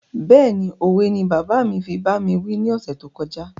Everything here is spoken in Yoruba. Béèni òwe ni bàbá mi fi bá mi wí ni ọ̀sẹ̀ tó kọjá